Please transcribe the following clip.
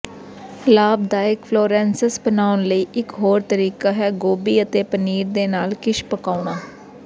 ਲਾਭਦਾਇਕ ਫਲੋਰੈਂਸੇਂਸ ਬਣਾਉਣ ਲਈ ਇਕ ਹੋਰ ਤਰੀਕਾ ਹੈ ਗੋਭੀ ਅਤੇ ਪਨੀਰ ਦੇ ਨਾਲ ਕਿਸ਼ ਪਕਾਉਣਾ